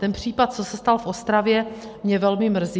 Ten případ, co se stal v Ostravě, mě velmi mrzí.